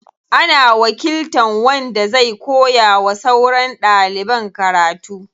Ana wakiltan wanda zai koya wa sauran ɗaliban karatu.